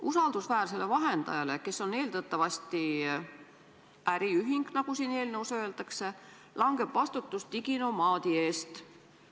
Usaldusväärsele vahendajale, kes on eeldatavasti äriühing, nagu siin eelnõus öeldakse, langeb vastutus diginomaadi eest.